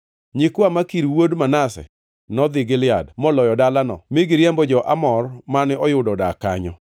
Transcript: Nyikwa Makir wuod Manase nodhi Gilead, moloyo dalano mi giriembo jo-Amor mane oyudo odak kanyo.